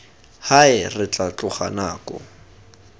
hae re tla tloga nako